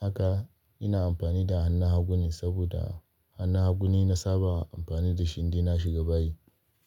haka ina amfani da hannun hagune saboda hannun hagune na saba amfani da shi inda na shiga bayi.